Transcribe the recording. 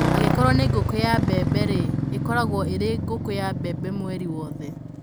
Angĩkorũo nĩ ngũkũ ya mbembe-rĩ, ĩkoragwo ĩrĩ ngũkũ ya mbembe mweri wothe.